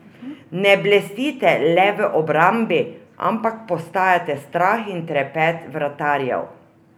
Ne blestite le v obrambi, ampak postajate strah in trepet vratarjev?